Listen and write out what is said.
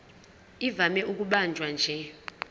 ivame ukubanjwa nje